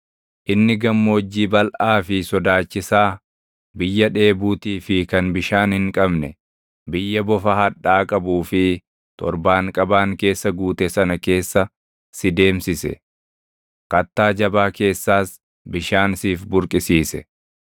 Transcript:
Inni gammoojjii balʼaa fi sodaachisaa, biyya dheebuutii fi kan bishaan hin qabne, biyya bofa hadhaa qabuu fi torbaanqabaan keessa guute sana keessa si deemsise. Kattaa jabaa keessaas bishaan siif burqisiise.